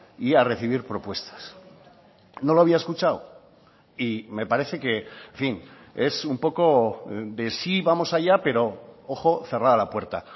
y a recibir propuestas no lo había escuchado y me parece que en fin es un poco de sí vamos allá pero ojo cerrada la puerta